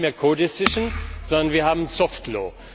Wir haben nicht mehr co decision sondern wir haben soft law